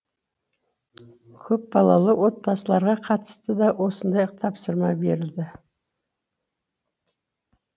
көпбалалы отбасыларға қатысты да осындай тапсырма берілді